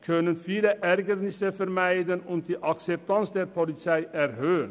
Damit könnten viele Ärgernisse vermieden und die Akzeptanz der Polizei erhöht werden.